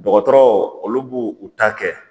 Dɔgɔtɔrɔ olu b'u u ta kɛ